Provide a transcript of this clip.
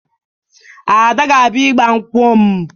Ada ga-abịa ịgbanwkụ m